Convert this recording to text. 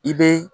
I bɛ